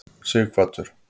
Sighvatur